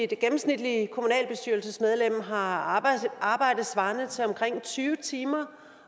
gennemsnitlige kommunalbestyrelsesmedlem har arbejde svarende til omkring tyve timer